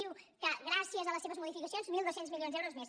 diu que gràcies a les seves modificacions mil dos cents milions d’euros més